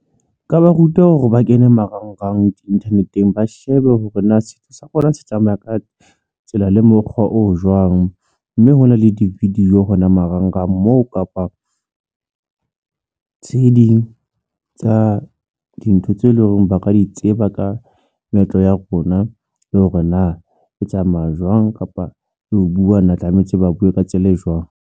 Nka ba ruta hore ba kene marangrang di-internet-eng, ba shebe hore na setso sa rona se tsamaya ka tsela le mokgwa o jwang, mme hona le di-video hona marangrang moo kapa tse ding tsa dintho tse leng hore ba ka di tseba ka meetlo ya rona le hore na o tsamaya jwang kapa ho buwa tlametse ba buwe ka tsela e jwang.